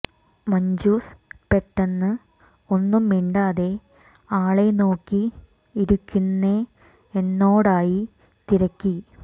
മഞ്ജുസ് പെട്ടെന്ന് ഒന്നും മിണ്ടാതെ ആളെ നോക്കി ഇരിക്കുന്നെ എന്നോടായി തിരക്കി